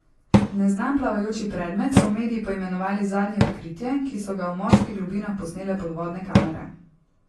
Neznan plavajoči predmet so mediji poimenovali zadnje odkritje, ki so ga v morskih globinah posnele podvodne kamere.